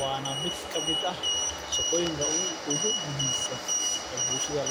waa shaqoyinka ugu muhiimsan ee bulshada.